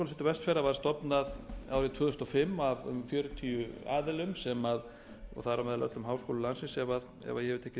vestfjarða var stofnað árið tvö þúsund og fimm af fjörutíu aðilum og þar á meðal öllum háskólum landsins sem ef ég hef tekið rétt